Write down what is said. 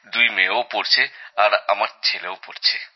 দুই মেয়েও পড়ছে আর আমার ছেলেও পড়ছে